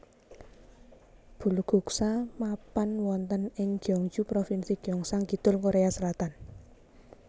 Bulguksa mapan wonten ing Gyeongju Provinsi Gyeongsang Kidul Korea Selatan